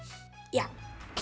já